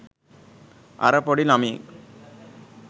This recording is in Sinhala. අර පොඩි ළමයෙක්